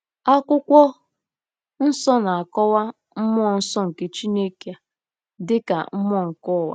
Akwụkwọ Nsọ na-akọwa mmụọ nsọ nke Chineke a dị ka “mmụọ nke ụwa.”